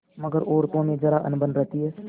मगर औरतों में जरा अनबन रहती है